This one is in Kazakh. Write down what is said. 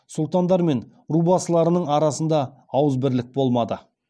сұлтандар мен рубасыларының арасында ауызбірлік болмады